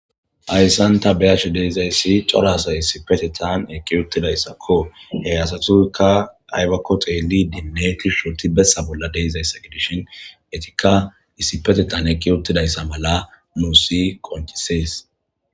ayssan ta beyash deizayssi corasay isipetetan eki uttidayssakko hey asatuykka aybakko xeeli dinnetishshoti bessa bolla deizayssa gidishin etikka issipetetan eki ottidayssa mala muusi qonchisees